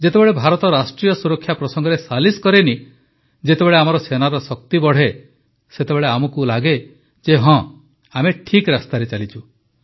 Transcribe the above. ଯେତେବେଳେ ଭାରତ ରାଷ୍ଟ୍ରୀୟ ସୁରକ୍ଷା ପ୍ରସଙ୍ଗରେ ସାଲିସ୍ କରେନାହିଁ ଯେତେବେଳେ ଆମର ସେନାର ଶକ୍ତି ବଢ଼େ ସେତେବେଳେ ଆମକୁ ଲଗେ ଯେ ହଁ ଆମେ ଠିକ୍ ରାସ୍ତାରେ ଚାଲିଛୁ